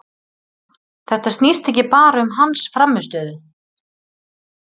Þetta snýst ekki bara um hans frammistöðu.